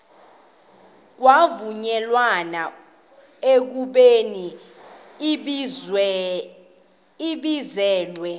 kwavunyelwana ekubeni ibizelwe